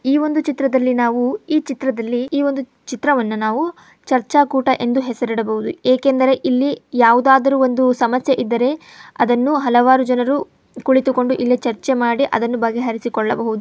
ಈ ಒಂದು ಚಿತ್ರದಲ್ಲಿ ನಾವು ಈ ಚಿತ್ರದಲ್ಲಿ ಈ ಒಂದು ಚಿತ್ರವನ್ನ ನಾವು ಚರ್ಚಾ ಕೂಟ ಎಂದು ಹೆಸರಿಡಬಹುದು ಏಕೆಂದರೆ ಇಲ್ಲಿ ಯಾವುದಾದರೊಂದು ಸಮಸ್ಯೆ ಇದ್ದರೆ ಅದನ್ನು ಹಲವಾರು ಜನರು ಕುಳಿತುಕೊಂಡು ಇಲ್ಲೆ ಚರ್ಚೆ ಮಾಡಿ ಅದನ್ನು ಬಗೆಹರಿಸಿಕೊಳ್ಳಬಹುದು.